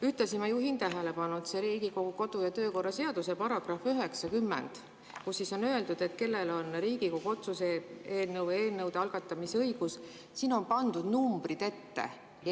Ühtlasi ma juhin tähelepanu, et Riigikogu kodu- ja töökorra seaduse §-s 90 on öeldud, kellel on Riigikogu otsuste eelnõude või seaduseelnõude algatamise õigus, ja siin on pandud numbrid ette.